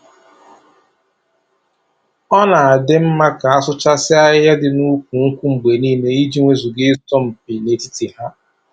Ọ na-adị mma ka a na-asụchasị ahịhịa dị na ukwu nkwụ mgbe niile, i ji wezuga ị sọ mpi na-etiti ha.